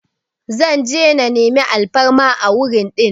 Zan je na meni alfarma a wurin din